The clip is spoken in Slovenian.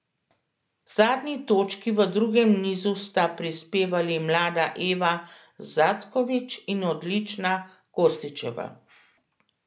Zadnji točki v drugem nizu sta prispevali mlada Eva Zatković in odlična Kostićeva.